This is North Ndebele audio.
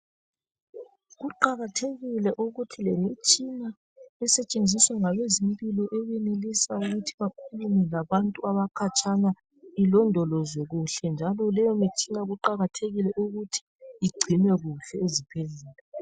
Kuqakathekile ukuthi lemitshina esetshenziswa ngabezempilo eyenelisayo ukuthi bakhulume labantu abakhatshana ilondolozwe kuhle njalo leyomitshina kuqakathekile ukuthi igcinwe kuhle ezibhedlela.